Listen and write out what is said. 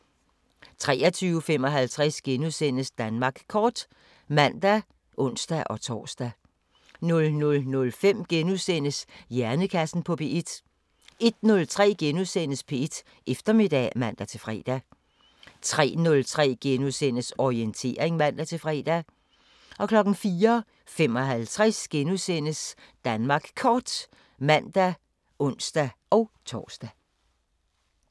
23:55: Danmark Kort *(man og ons-tor) 00:05: Hjernekassen på P1 * 01:03: P1 Eftermiddag *(man-fre) 03:03: Orientering *(man-fre) 04:55: Danmark Kort *(man og ons-tor)